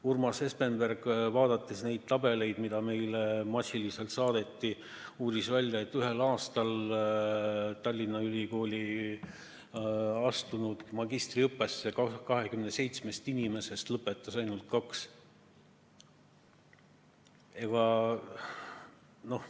Urmas Espenberg vaatas neid tabeleid, mida meile massiliselt saadeti, ja uuris välja, et Tallinna Ülikooli magistriõppesse astunud 27 inimesest lõpetas ühel aastal ainult kaks.